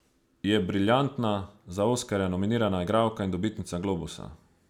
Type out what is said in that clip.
Je briljantna, za oskarja nominirana igralka in dobitnica globusa.